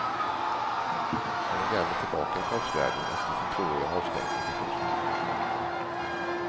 Han är därmed tillbaka i proffsvärlden efter sin tvååriga avstängning för fusk.